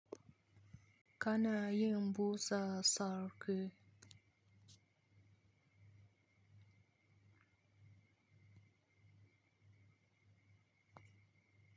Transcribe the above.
Kana yin busa sarki.